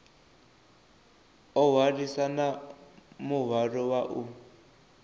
o hwalisana muhwalo wa u